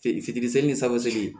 Fi fitini seegin san segin